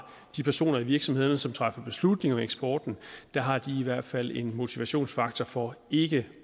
de personer i virksomhederne som træffer beslutning om eksporten i hvert fald en motivationsfaktor for ikke